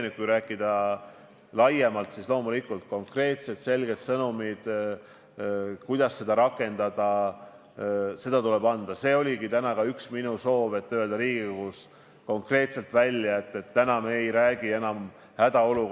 Mul oleks väga hea meel, kui sa siin puldis praegu ütleks, et nüüdsest peale valitsuse kommunikatsioon toimub kas ühe isiku, näiteks sinu või kellegi teise konkreetse isiku kaudu või et vähemalt te kooskõlastate alati seda, mida te ütlete.